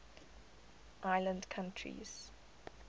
island countries